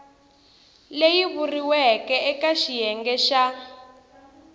leyi vuriweke eka xiyenge xa